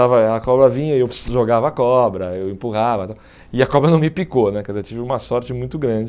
Estava a cobra vinha e eu jogava a cobra, eu empurrava e tal, e a cobra não me picou né, porque eu tive uma sorte muito grande.